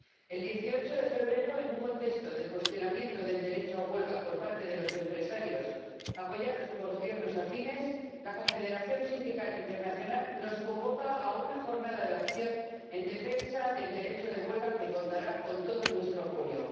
El 18 de febrero, en un contexto de cuestionamiento del derecho a huelga por parte de los empresarios, apoyados por Gobiernos afines, la Confederación Sindical Internacional nos convoca a una jornada de acción en defensa del derecho de huelga, que contará con todo nuestro apoyo.